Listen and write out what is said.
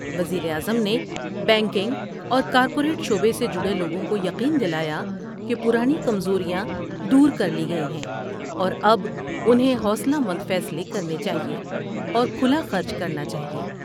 وزیر اعظم نے بینکنگ اور کارپوریٹ شعبے سے جڑے لوگوں کو یقین دلا یا کہ پرانی کمزوریاں دور کر لی گئی ہیں اور اب انہیں حوصلہ مند فیصلے کرنے چاہئے ، اور کھلاخرچ کرنا چاہئے ۔